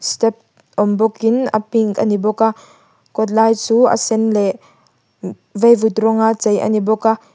step awm bawkin a pink a ni bawk a kawt lai chu a sen leh vaivut rawng a chei a ni bawk a.